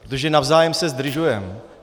Protože navzájem se zdržujeme.